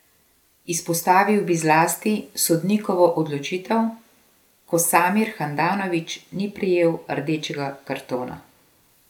Izpostavil bi zlasti sodnikovo odločitev, ko Samir Handanović ni prejel rdečega kartona.